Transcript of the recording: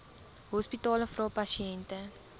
hospitale vra pasiënte